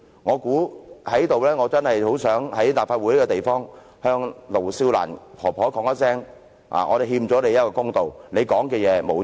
我真的很想在立法會這個地方，向盧少蘭婆婆說出這一段說話："我們欠你一個公道，你說的話並沒有錯。